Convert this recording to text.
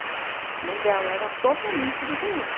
mãe dela era totalmente diferente.